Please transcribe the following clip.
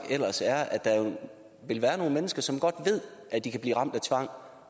er at der vil være nogle mennesker som godt ved at de kan blive ramt af tvang